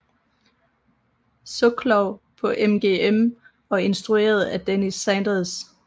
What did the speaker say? Soklow på MGM og instrueret af Denis Sanders